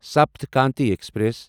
Sapt Kranti express